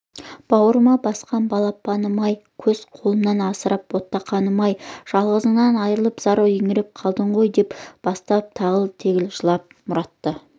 бауырыма басқан балапаным-ай өз қолымнан асыраған ботақаным-ай жалғызыңнан айырылып зар еңіреп қалдың ғой деп бастап ағыл-тегіл жылап мұратты